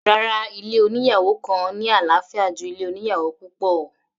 Rárá, ilé oníyàwò kan ní àlàáfíà ju ilé oníyàwò púpọ̀.